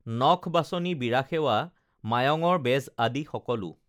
নখ বাচনি বীৰা সেৱা মায়ঙৰ বেজ আদি সকলো